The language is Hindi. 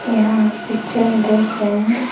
यहां हम पिक्चर में देख रहे हैं।